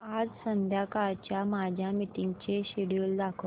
आज संध्याकाळच्या माझ्या मीटिंग्सचे शेड्यूल दाखव